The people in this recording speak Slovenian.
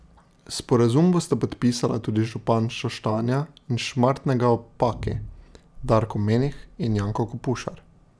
Sporazum bosta podpisala tudi župana Šoštanja in Šmartnega ob Paki, Darko Menih in Janko Kopušar.